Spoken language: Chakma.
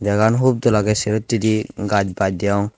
jaga gan hub dol agey sero hittedi gaj baj deyong.